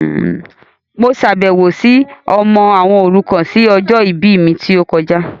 Mo ṣàbẹ̀wọ̀ si ilé àwọn ọmọ òrukàn ni ọjọ ìbí mi ti o kojá